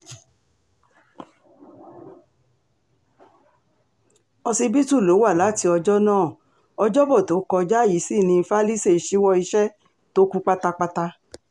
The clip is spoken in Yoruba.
òsibítù ló wá láti ọjọ́ náà ọjọ́bọ tó kọjá yìí sí ní falise ṣíwọ́ iṣẹ́ tó kù pátápátá